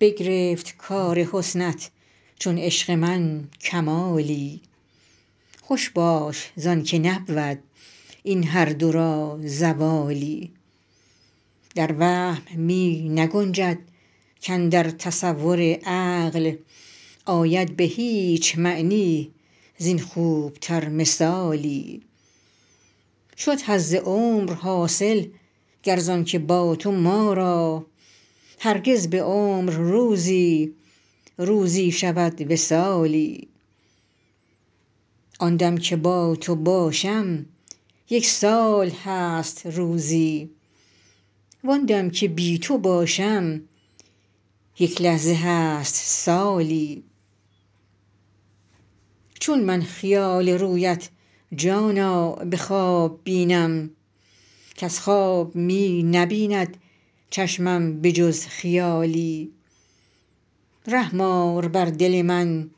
بگرفت کار حسنت چون عشق من کمالی خوش باش زان که نبود این هر دو را زوالی در وهم می نگنجد کاندر تصور عقل آید به هیچ معنی زین خوب تر مثالی شد حظ عمر حاصل گر زان که با تو ما را هرگز به عمر روزی روزی شود وصالی آن دم که با تو باشم یک سال هست روزی وان دم که بی تو باشم یک لحظه هست سالی چون من خیال رویت جانا به خواب بینم کز خواب می نبیند چشمم به جز خیالی رحم آر بر دل من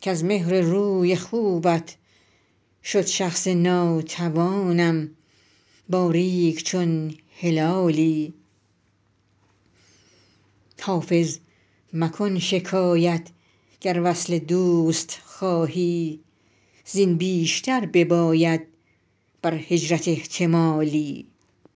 کز مهر روی خوبت شد شخص ناتوانم باریک چون هلالی حافظ مکن شکایت گر وصل دوست خواهی زین بیشتر بباید بر هجرت احتمالی